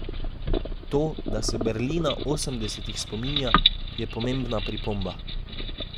To, da se Berlina osemdesetih spominja, je pomembna pripomba.